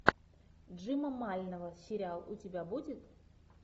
джима мальнова сериал у тебя будет